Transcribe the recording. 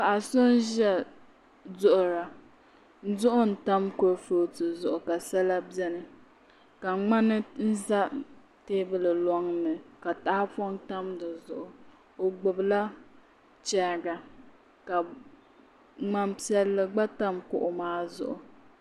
Paɣa so n ʒiya duɣura duɣu n tam kuripooti zuɣu ka sala bɛni ka ŋmani ʒɛ teebuli loŋni ka tahapoŋ tam di zuɣu o gbubila chɛriga ka ŋmani piɛlli gba tam kuɣu maa zuɣu